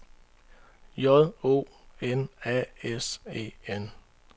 J O N A S E N